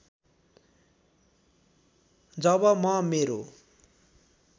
जब म मेरो